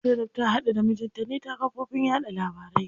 Zainab ta haɗu da mijinta ne ta kafofin yaɗa labarai.